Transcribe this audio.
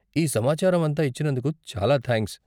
ఈ సమాచారం అంతా ఇచ్చినందుకు చాలా థాంక్స్.